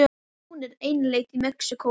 Hún er einlend í Mexíkó.